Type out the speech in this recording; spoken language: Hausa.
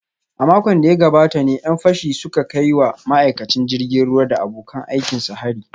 A makon da ya gabata ne ‘yan fashin suka kai wa ma’aikacin jirgin ruwa da abokan aikinsa hari